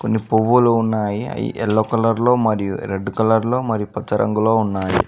కొన్ని పువ్వులు ఉన్నాయి అవి ఎల్లో కలర్ లో మరియు రెడ్డు కలర్లో మరి పచ్చ రంగులో ఉన్నాయి.